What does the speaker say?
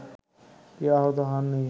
কেউ আহত হননি